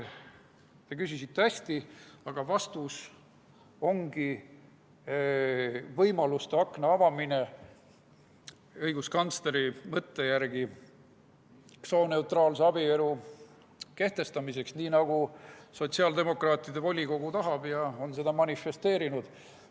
" Te küsisite hästi, aga vastus ongi võimaluste akna avamine õiguskantsleri mõtte järgi sooneutraalse abielu kehtestamiseks, nii nagu sotsiaaldemokraatide volikogu tahab ja on seda manifesteerinud.